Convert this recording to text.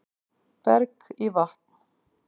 Berg í vatn